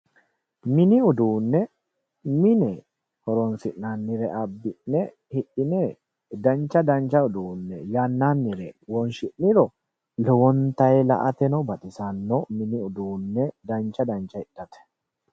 Mini uduune mine horonsi'nannire abbi'ne hidhine dancha dancha uduune yannanire wonshi'niro lowonta la"ateno baxisano mini uduune dancha dancha hidhate.